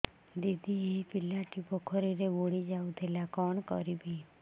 ଦିଦି ଏ ପିଲାଟି ପୋଖରୀରେ ବୁଡ଼ି ଯାଉଥିଲା କଣ କରିବି